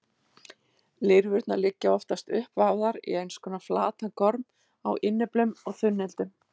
Lirfurnar liggja oftast uppvafðar í einskonar flatan gorm á innyflum og þunnildum.